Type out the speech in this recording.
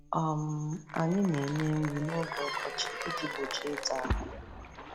um Anyị na-enye nri n'oge ọkọchị iji gbochie ịta ahụ.